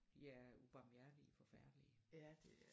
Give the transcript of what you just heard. De er ubarmhjertige forfærdelige